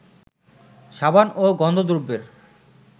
সাবান ও গন্ধদ্রব্যের